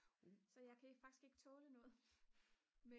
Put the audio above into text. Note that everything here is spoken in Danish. så jeg kan faktisk ikke tåle noget